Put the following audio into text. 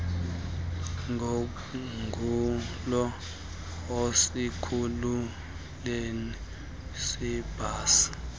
ngonqulo esikhululweni seebhasi